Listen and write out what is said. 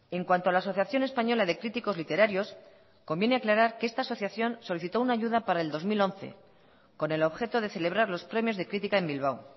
en cuanto a la asociación española de críticos literarios conviene aclarar que esta asociación solicitó una ayuda para el dos mil once con el objeto de celebrar los premios de crítica en bilbao